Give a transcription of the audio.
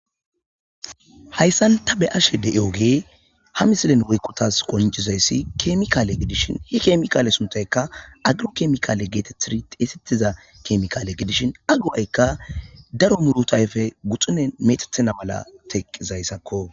Haysan ta be'ashe de'iyogeyi ha misilen woyko tas qoncizaysi kemikale (chemical) gidishn he kemikale sunthayka garo chemical getetid xeysethza kemikale gidishn a go'ayka daro muruta ayfeyi guxuneni metetona mala teqizysako .